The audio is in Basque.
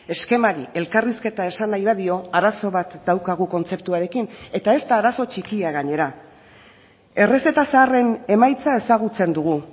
eskemari elkarrizketa esan nahi badio arazo bat daukagu kontzeptuarekin eta ez da arazo txikia gainera errezeta zaharren emaitza ezagutzen dugu